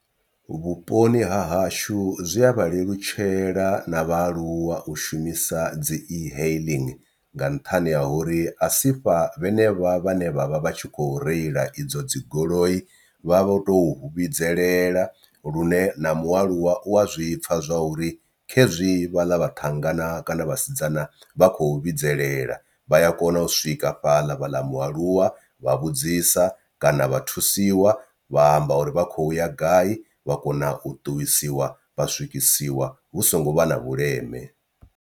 Vhuponi ha hashu zwi a vha lelutshela na vhaaluwa u shumisa dzi e-hailing nga nṱhani ha uri a si fha vhene vha vhane vhavha vhatshi kho reila idzo dzi goloi vha vho tou vhidzelela, lune na mualuwa u a zwipfha zwa uri khezwi vhala vhathannga na kana vhasidzana vha khou vhidzelela. Vha ya kona u swika fhaḽa vhaḽa mualuwa vha vhudzisa kana vha thusiwa vha amba uri vha khou ya gai vha kona u ṱuwisiwa vha swikisiwa hu songo vha na vhuleme.